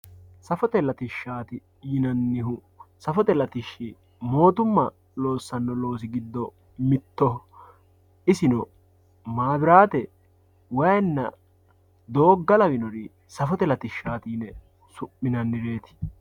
safote latishshaati yinannihu mootumma loossanno loosi giddo mittoho isino maabiraate, wayiinna, doogga lawinori safote latishshaati yine su'minannireeti.